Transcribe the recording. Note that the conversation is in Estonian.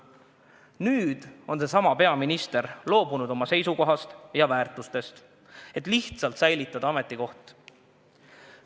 Nüüd on seesama peaminister loobunud oma senisest seisukohast ja väärtustest, et lihtsalt ametikoht säilitada.